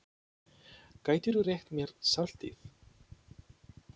Gætirðu rétt mér saltið?